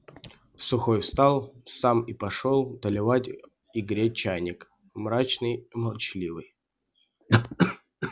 сухой встал сам и пошёл доливать и греть чайник мрачный и молчаливый